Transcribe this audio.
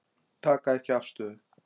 Taka ekki afstöðu